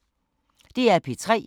DR P3